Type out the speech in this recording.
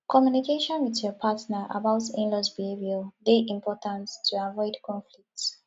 communication with your partner about inlaws behavior dey important to avoid conflict